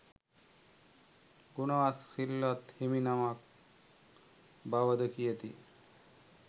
ගුණවත් සිල්වත් හිමිනමක් බවද කියති.